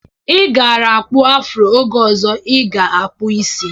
Ị gaara akpụ afuro oge ọzọ ị ga-akkpụ isi.